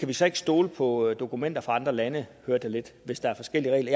vi så ikke stole på dokumenter fra andre lande hvis der er forskellige regler